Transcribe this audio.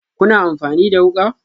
Kuna amfani da wuka?